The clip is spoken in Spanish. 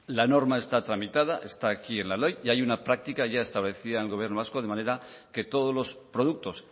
la norma está tramitada está aquí en la ley y hay una práctica ya establecida en el gobierno vasco de manera que todos los productos